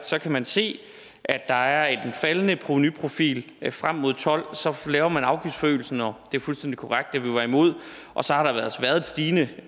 så kan man se at der er en faldende provenuprofil frem mod og tolv så laver man afgiftforøgelsen og det er fuldstændig korrekt at vi var imod og så har der altså været et stigende